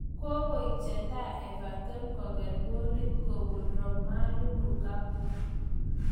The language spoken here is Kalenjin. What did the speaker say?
Koeek chetai Everton kokere kolit kopun Romelu Lukaku